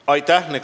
Aitäh!